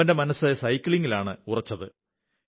എന്നാൽ അവന്റെ മനസ്സ് സൈക്ലിംഗിലാണ് ഉറച്ചിരുന്നത്